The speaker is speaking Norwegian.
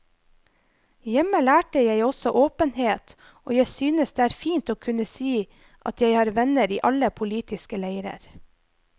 Hjemme lærte jeg også åpenhet, og jeg synes det er fint å kunne si at jeg har venner i alle politiske leirer.